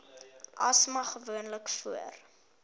asma gewoonlik voor